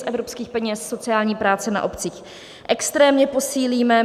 Z evropských peněz sociální práci na obcích extrémně posílíme.